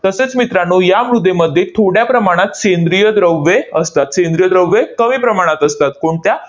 तसेच मित्रांनो, या मृदेमध्ये थोड्या प्रमाणात सेंद्रिय द्रव्ये असतात. सेंद्रिय द्रव्ये कमी प्रमाणात असतात. कोणत्या?